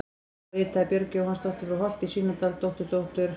Þá ritaði Björg Jóhannsdóttir frá Holti í Svínadal, dótturdóttir